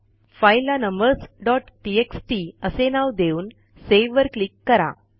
फाईलला numbersटीएक्सटी असे नाव देऊन सेव्हवर क्लिक करा